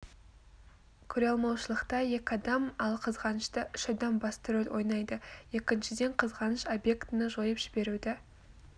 көреалмаушылықта екі адам ал қызғанышта үш адам басты рөл ойнайды екіншіден қызғаныш объектіні жойып жіберуді